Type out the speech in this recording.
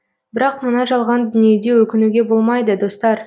бірақ мына жалған дүниеде өкінуге болмайды достар